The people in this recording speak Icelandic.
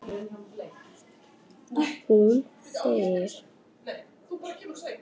En hún þegir.